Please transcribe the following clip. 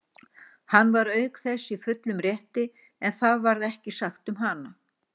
Hann var auk þess í fullum rétti, en það varð ekki sagt um hana.